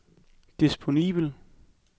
disponibel